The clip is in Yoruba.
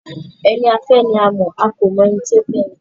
Ẹni a fẹ́ ni a mọ̀, a kò mọ ẹni tó fẹ́ ẹni.